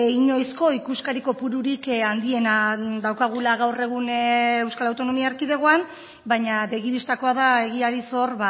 inoizko ikuskari kopururik handiena daukagula gaur egun euskal autonomia erkidegoan baina begi bistakoa da egiari zor